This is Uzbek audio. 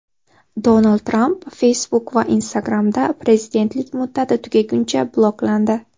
Donald Tramp Facebook va Instagram’da prezidentlik muddati tugaguncha bloklandi.